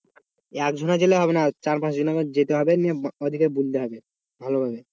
একজনে গেলে হবে না চার পাঁচ জন যেতে হবে, নিয়ে ওদেরকে বলতে হবে ভালোভাবে।